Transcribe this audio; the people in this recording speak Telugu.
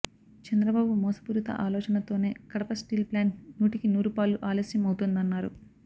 చంద్రబాబు మోసపూరిత ఆలోచనతోనే కడప స్టీల్ ప్లాంట్ నూటికి నూరుపాళ్లు ఆలస్యం అవుతుందన్నారు